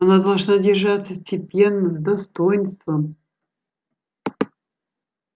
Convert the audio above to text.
она должна держаться степенно с достоинством